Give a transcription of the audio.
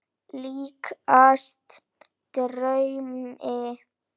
Líkast draumi.